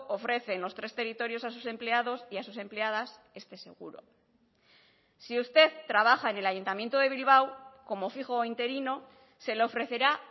ofrece en los tres territorios a sus empleados y a sus empleadas este seguro si usted trabaja en el ayuntamiento de bilbao como fijo o interino se le ofrecerá